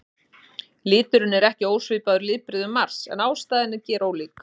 Liturinn er ekki ósvipaður litbrigðum Mars en ástæðan er gerólík.